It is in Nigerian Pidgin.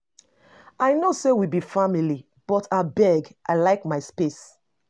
I know sey we be family but abeg, I like my space.